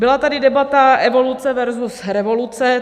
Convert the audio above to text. Byla tady debata evoluce versus revoluce.